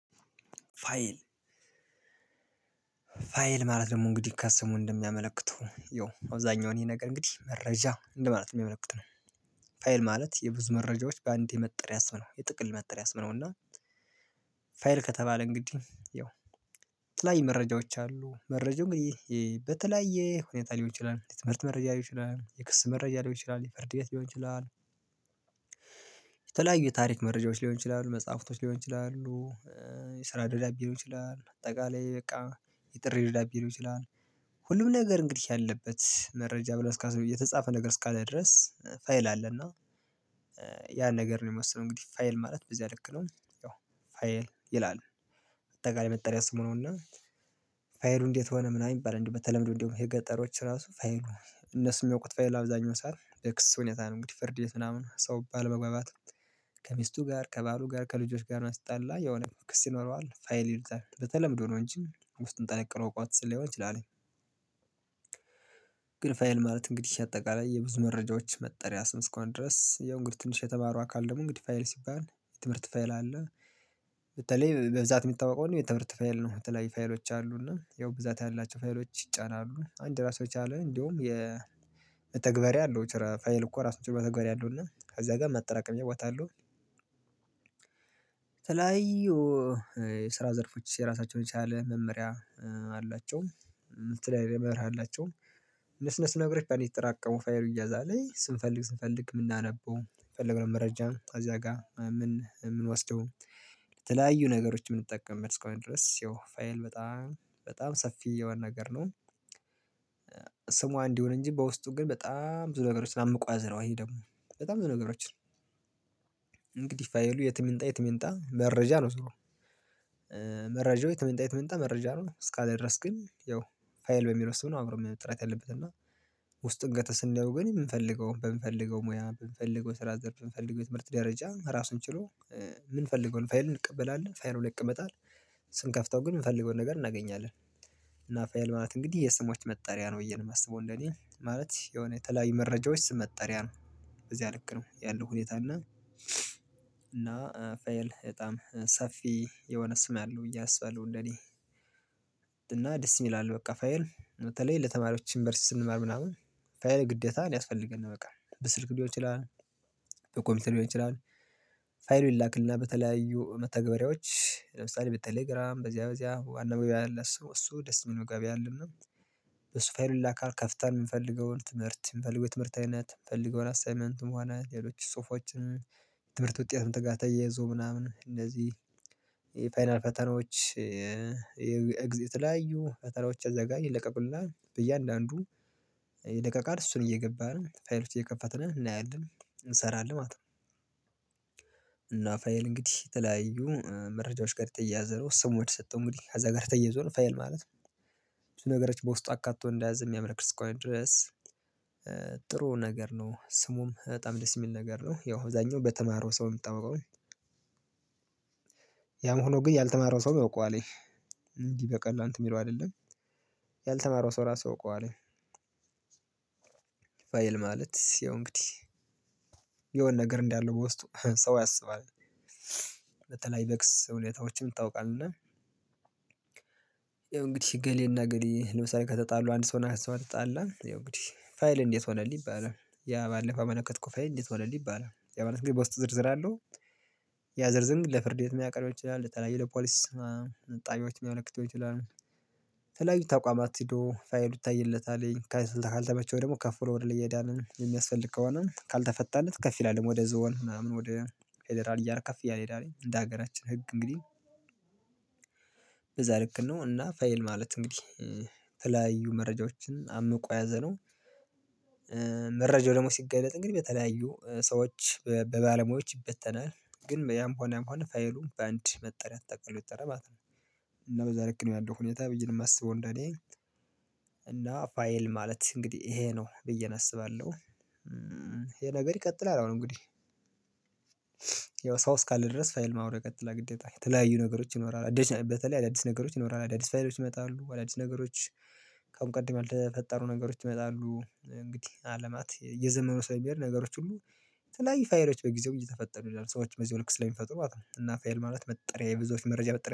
ፋይል ፋይል ማለት ደግሞ እንግዲህ ከስሙ እንደሚያመለክተው ያው አብዛኛው ይሄ ነገር እንግዲህ መረጃ እንደማለት ነው የሚያመለክተው ነው። ፋይል ማለት የብዙ መረጃዎች በአንዴ መጠሪያ ስም ነው የጥቅል መጠሪያ ስምነው። እና ፋይል ከተባለ እንግዲህ ያው የተለያዩ መረጃዎች አሉ መረጃው እንግዲህ በተለያየ ሁኔታ ሊሆን ይችላል የትምህርት መረጃ ሊሆን ይችላል የክስ መረጃ ሊሆን ይችላል የፍርድ ቤት ሊሆን ይችላል። የተለያዩ የታሪክ መረጃዎች ሊሆን ይችላሉ መጽሐፍቶች ሊሆን ይችላሉ የስራ ደብዳቤ ሊሆን ይችላል አጠቃላይ በቃ የጥሪ ልደት ቢሆን ሁሉም ነገር እንግዲህ ያለበት መረጃ ብለው እስካሰብን የተጻፈ ነገር እስካለ ድረስ ፋይል አለ። እና ያን ነገር ነው የመሰለው እንግዲህ ፋይል ማለት በዚህ ያለክ ነው። ፋይል ይላል። አጠቃላይ መጠሪያ ስሙ ነውና። ፋይሉ እንዴት ሆነ ምናምን የሚባል እንዴ በተለምዶ እንደውም የገጠሮች ራሱ ፋይሉ እነሱን የሚያውቁት ፋይል አብዛኛው ሰዓት የክስ ሁኔታ ነው። እንግዲህ ፍርድ ምናምን ሰው ባለመግባባት ከሚስቱ ጋር ከባሉ ጋር ከልጆች ጋር ሲጣላ የሆነ ክስ ይኖረዋል ፋይል ይሉታል በተለምዶ ነው እንጂ ውስጥ ጠለቅ ብሎ አውቆት ሊሆን ይችላል። ግን ፋይል ማለት እንግዲህ አጠቃላይ የብዙ መረጃዎች መጠሪያ ስም እስከሆነ ድረስ ያው እንግዲህ ትንሽ የተማሩ አካል ደግሞ እንግዲህ ፋይል ሲባል የትምህርት ፋይል አለ። በተለይ በብዛት የሚታወቀው የትምህርት ፋይል ነው የተለያዩ ፋይሎች አሉና ያው ብዛት ያላቸው ፋይሎች ይጫናሉ አንድ ራሱን የቻለ እንደውም የመተግበርያ አለው ፋይል እኮ ራሱን ችሎ መተግበርያ አለው። እና ከዛ ጋር ማጠራቀም ያውቃሉ። የተለያዩ የስራ ዘርፎች የራሳቸውን የቻለ መመሪያ አላቸው የተለያዩ መርህ አላቸው። እነሱ እነሱ ነገሮች በአንድ እየተጠራቀሙ ፋይሉ ይያዛለኝ ስንፈልግ ስንፈልግ የምናነበው የፈልገውን መረጃ እዚያ ጋር ምንወስደው ለተለያዩ ነገሮች የምንጠቀምበት እስካሁን ድረስ ያው ፋይል በጣም በጣም ሰፊ የሆነ ነገር ነው። ስሟ እንዲ ይሁን እንጂ በውስጡ ግን በጣም ብዙ ነገሮች አምቆ የያዘ ነው። ይሄ ደግሞ በጣም ብዙ ነገሮችን እንግዲህ ፋይሉ የትም ይምጣ የትም ይምጣ መረጃ ነው ዞሮ መረጃው የትም ይምጣ የትም ይምጣ መረጃ ነው። እስካለ ድረስ ግን ያው ፋይል በሚለው ስም ነው አብሮ መጠራት ያለበት እና ውስጡን ገብተን ስናየው ግን ግን የምንፈልገው በምንፈልገው ሙያ በምንፈልገው ስራ ዘርፍ በምንፈልገው የትምህርት ደረጃ ራሱን ችሎ ምንፈልገው ፋይል እንቀበላለን ፋይሉ ላይ ይቀመጣል። ስንከፍተው ግን የምንፈልገውን ነገር እናገኛለን። እና ፋይል ማለት እንግዲህ የስሞች መጠሪያ ነው ብዬ ነው የማስበው። እንደኔ ማለት የሆነ የተለያዩ መረጃዎች ስም መጠሪያ ነው እዚያ ልክ ነው ያለው ሁኔታ እና እና ፋይል በጣም ሰፊ የሆነ ስም አለው ብዬ አስባለሁ። እንደኔ እና ደስ ይላል በቃ ፋይል በተለይ ለተማሪዎች ዩኒቨርሲቲ ስንማር ምናምን ፋይል ግዴታ ነው ያስፈልገናል በቃ በስልክ ሊሆን ይችላል። በኮምፒውተር ሊሆን ይችላል። ፋይሉን ይላክልና በተለያዩ መተግበሪያዎች ለምሳሌ በቴሌግራም በዚያ በዚያ ዋና በቢያ አለ እሱ ደስ የሚል ጋቢ አለ። በሱ ፋይሉ ይላካል ከፍተን የምንፈልገውን ትምህርት የምንፈልገው የትምህርት አይነት ትምህርት አይነት የምፈልገው አሳይመንትም ሆነ ሌሎች ጽሁፎችን የትምህርት ውጤትም ጋር ተያይዞ ምናምን እንደዚህ የፋይናል ፈተናዎች የኤግዚት የተለያዩ ፈተናዎች እዚያ ጋር ይለቀቁልና በእያንዳንዱ ይለቀቃል እሱን እየገባነ ፋይል ውስጥ እየከፋት ነው እናያለን እንሰራለን ማለት ነው። እና ፋይል እንግዲህ የተለያዩ መረጃዎች ጋር የተያያዘ ነው ስሞች የተሰጠው እንግዲህ እዛ ጋር ተያይዞ ነው ፋይል ማለት ነው። ብዙ ነገሮች በውስጡ አካትቶ እንደያዘ የሚያመለክት እስከሆነ ድረስ። ጥሩ ነገር ነው ስሙም በጣም ደስ የሚል ነገር ነው ያው እዛኛው በተማረው ሰው የሚታወቀው። ያም ሆኖ ግን ያልተማረው ሰውም ያውቀዋል። እንዲህ በቀል እንትን የሚለው አይደለም። ያልተማረው ሰው እራሱ ያውቀዋለሁ። ማለት ሲሆን እንግዲህ የሆነ ነገር እንዳለ በውስጡ ሰው ያስባል። በተለይ በክስ ሁኔታዎችም ይታወቃል። እና ይኸው እንግዲህ ገሌና ገሌ ለምሳሌ ከተጣሉ አንድ ሰው እና ሰው ከተጣላ ያው እንግዲህ ፋይል እንዴት ሆነልህ ይባላል። ያ ባለፈው ያመለከትከው ፋይል እንዴት ሆነልህ ይባላል። ያ ማለት ግን በውስጡ ዝርዝር አለው። ያዝርዝር ግን ለፍርድ ቤት የሚያቀርበው ሊሆን ይችላል ለተለያዬ ለፖሊስ ጣቢያዎች ሊያመለክተው ይችላል። የተለያዩ ተቋማት ሄዶ ፋይሉ ይታይለታልኝ ካልተመቸው ደግሞ ከፍ ብሎ ወደ ላይ ይሄዳል የሚያስፈልግ ከሆነ ካልተፈታለት ከፍ ይላል ደግሞ ወደ ዞን ምናምን ወደ ፌደራል እያለ ከፍ እያለ ይሄዳል። እንደ ሀገራችን ህግ እንግዲህ በዛ ልክ ነው። እና ፋይል ማለት እንግዲህ የተለያዩ መረጃዎችን አምቆ የያዘነው መረጃው ደግሞ ሲገለጥ እንግዲህ በተለያዩ ሰዎች በባለሙያዎች ይበተናል ግን ያም ሆነ ያም መሆን ፋይሉን በአንድ መጠሪያ ተጠቅሎ ይጠራል ማለት ነው። እና በዛ ልክ ነው ያለው ሁኔታ ብዬ ነው የማስበው። እንደኔ እና ፋይል ማለት እንግዲህ ይሄ ነው ብዬ አስባለሁ። ይሄ ነገር ይቀጥላል አሁን እንግዲህ ያው ሰው እስካለ ድረስ ፋይል አብሮ ይቀጥላል። የተለያዩ ነገሮች ይኖራል በተለይ አዳዲስ ነገሮች ይኖራል አዳዲስ ፋይሎች ይመጣሉ አዳዲስ ነገሮች ከአሁን ቀድመው የተፈጠሩ ነገሮች ይመጣሉ እንግዲህ አለማት እየዘመኑ ስለሚሄድ ነገሮች ሁሉ የተለያዩ ፋይሎች በጊዜው እየተፈጠሩ ይሄዳሉ ሰዎች በዚያው ልክ ስለሚፈጥሩ ማለት ነው። እና ፋይል ማለት መጠሪያ የብዙዎች መረጃ መጠሪያ